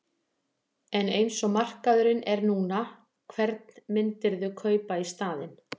En eins og markaðurinn er núna, hvern myndirðu kaupa í staðinn?